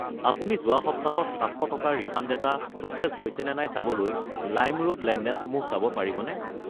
আপুনি যোৱা সপ্তাহ ত 700 টকাৰ ৰিফাণ্ড এটা প্ৰ'চেছ হৈছে নে চাবলৈ লাইমৰোড লেনদেনসমূহ চাব পাৰিবনে?